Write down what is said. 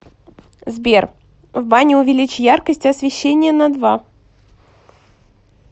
сбер в бане увеличь яркость освещения на два